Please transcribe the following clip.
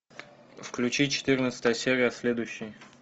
включи четырнадцатая серия следующий